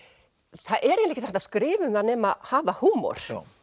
það er ekki hægt að skrifa um það nema hafa húmor